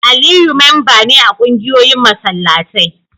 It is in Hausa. Aliyu memba ne a kungiyoyin masallatai